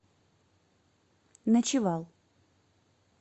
ночевал